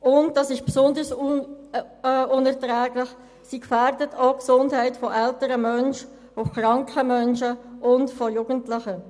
Zudem gefährden sie – das ist besonders unerträglich – auch die Gesundheit älterer Menschen, kranker Menschen und von Jugendlichen.